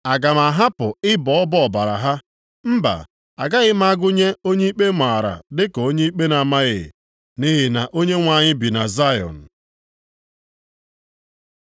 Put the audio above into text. Aga m ahapụ ịbọ ọbọ ọbara ha? Mba, agaghị m agụnye onye ikpe maara dịka onye ikpe na-amaghị. Nʼihi na Onyenwe anyị bi na Zayọn.”